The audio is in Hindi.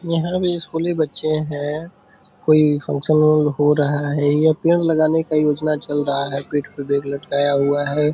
यहाँ पे स्कूली बच्चे हैं कोई फंक्शन हो रहा है या पेड़ लगाने का योजना चल रहा है पीठ पे बैग लटकाया हुआ है।